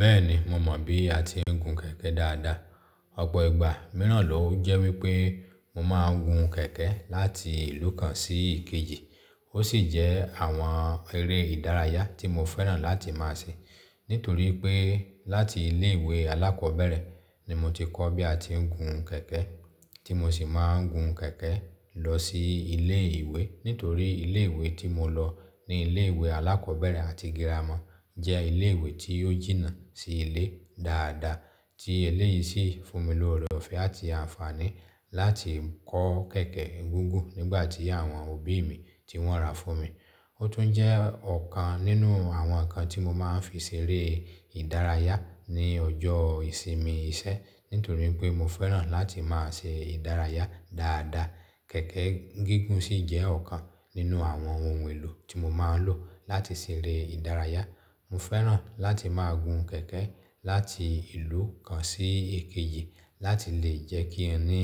Bẹ́ẹ̀ni, mo mọ̀ bí a ti ń gun kẹ̀kẹ́ dáadáa. Ọ̀pọ̀ ìgbà mìíràn ló jẹ́ wípé mo máa ń gun kẹ̀kẹ́ láti ìlú kan sí èkejì. Ó sì jẹ́ àwọn eré ìdárayá tí mo fẹ́ràn láti máa ṣe. Nítorí pé láti ilé ìwé alákọ̀ọ́bẹ̀rẹ̀ ni mo ti kọ́ bí a ti ń gun kẹ̀kẹ́, tí mo sì máa ń gun kẹ̀kẹ́ lọ sí ilé ìwé. Nítorí ilé ìwé tí mo lọ ní ilé ìwé alákọ̀ọ́bẹ̀rẹ̀ àti girama jẹ́ ilé ìwé tí ó jìnnà sí ilé dáadáa, tí eléyìí sì fún mi ní ọ̀rẹ́ ọ̀fẹ́ àti àǹfààní láti kọ́ kẹ̀kẹ́ gígùn nígbà tí àwọn òbí mi tí wọ́n ra fún mi. Ó tún jẹ́ ọ̀kan nínú àwọn nǹkan tí mo máa ń fi ṣeré ìdárayá ní ọjọ́ ìsinmi iṣẹ́. Nítorí pé mo fẹ́ràn láti máa ṣe ìdárayá dáadáa, kẹ̀kẹ́ gígùn sì jẹ́ ọ̀kan nínú àwọn ohun èlò tí mo máa ń lò láti ṣeré ìdárayá. Mo fẹ́ràn láti máa gun kẹ̀kẹ́ láti ìlú kan sí èkejì láti lè jẹ́ kí ń rí